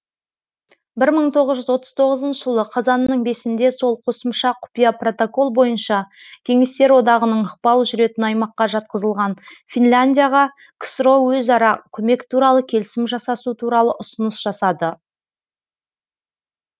бір мың тоғыз жүз отыз тоғызыншы жылғы қазанның бесінде сол қосымша құпия протокол бойынша кеңестер одағының ықпалы жүретін аймаққа жатқызылған финляндияға ксро өзара көмек туралы келісім жасасу туралы ұсыныс жасады